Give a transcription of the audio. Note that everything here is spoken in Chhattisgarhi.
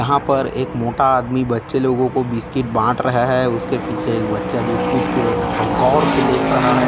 यहाँ पर एक मोटा आदमी बच्चे लोगो को बिस्किट बांट रहा है उसके पीछे एक बच्चा बिस्कुट की और झों गौर से देख रहा है।